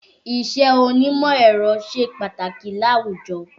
Iṣẹ́ onímọ̀ ẹ̀rọ ṣe pàtàkì láwùjọ